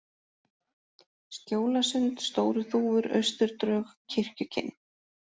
Skjólasund, Stóru-Þúfur, Austurdrög, Kirkjukinn